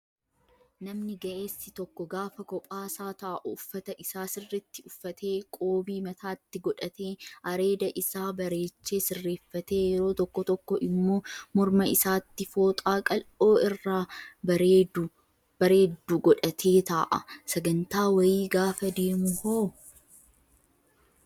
Namni ga'eessi tokko gaafa kophaasaa taa'u uffata isaa sirriitti uffatee qoobii mataatti godhatee, areeda isaa bareechee sirreeffatee yeroo tokko tokko immoo morma isaatti fooxaa qal'oo irraa bareeddu godhatee taa'a. Sagantaa wayii gaafa deemu hoo?